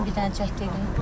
Burdan bir dənə çək.